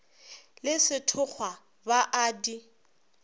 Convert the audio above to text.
le sethokgwa ba a di